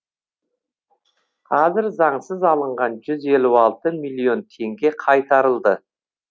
қазір заңсыз алынған жүз елу алты миллион теңге қайтарылды